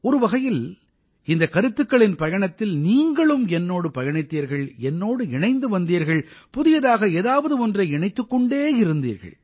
ஒரு வகையில் இந்தக் கருத்துக்களின் பயணத்தில் நீங்களும் என்னோடு பயணித்தீர்கள் என்னோடு இணைந்து வந்தீர்கள் புதியதாக ஏதாவது ஒன்றை இணைத்துக் கொண்டே இருந்தீர்கள்